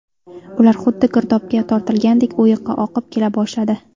Ular xuddi girdobga tortilgandek o‘yiqqa oqib kela boshladi.